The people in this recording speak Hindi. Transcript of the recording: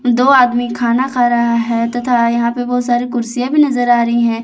दो आदमी खाना खा रहा है तथा यहां पे बहुत सारी कुर्सियां भी नजर आ रही है।